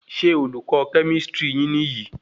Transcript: Ṣé olùkọ kemistri niyi?